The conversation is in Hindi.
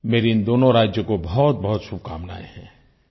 मेरी इन दोनों राज्यों को बहुतबहुत शुभकामनाएं हैं